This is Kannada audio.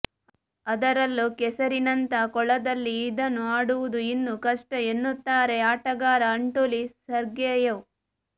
ಅದರಲ್ಲೂ ಕೆಸರಿನಂಥ ಕೊಳದಲ್ಲಿ ಇದನ್ನು ಆಡುವುದು ಇನ್ನೂ ಕಷ್ಟ ಎನ್ನುತ್ತಾರೆ ಆಟಗಾರ ಅಂಟೋಲಿ ಸರ್ಗೆಯೆವ್